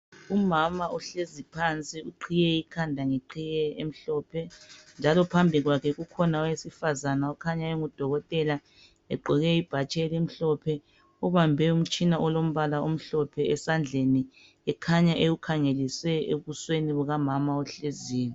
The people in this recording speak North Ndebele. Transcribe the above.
Umama uhlezi phansi iqhiye ikhanda ngeqhiye emhlophe njalo phambi kwakhe kukhona owesifazana okhanya engudokotela egqoke ibhatshi elimhlophe ubambe umtshina olombala omhlophe esandleni ekhanya ewukhangelise ebusweni bukamama ohleziyo.